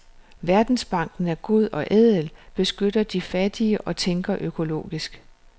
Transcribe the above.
Verdensbanken er god og ædel, beskytter de fattige og tænker økologisk.